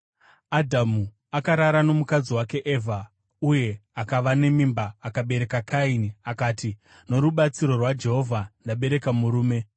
Adhamu akarara nomukadzi wake Evha, uye akava nemimba akabereka Kaini. Akati, “Norubatsiro rwaJehovha, ndabereka murume.”